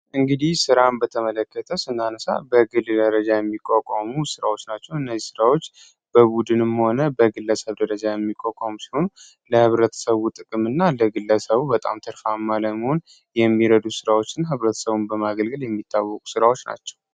እንግዲህ ስራን በተመለከተ እናንሳ በግድ የሚቋቋሙ ስራዎች ናቸው ። እነዚህ ራዎች በቡድንም ሆነ በግለሰብ ደረጃ የሚቆም ሰውን ለብረተሰቡ ጥቅምና እንደ ግለሰቡ በጣም ትርፋማ ለመሆን የሚረዱ ስራዎችን ህብረተሰቡን በማገልገል የሚታወቁ ራዎች ናቸው።